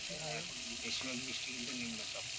এখন বেশিরভাগ বৃষ্টিই কিন্তু নিম্নচাপ?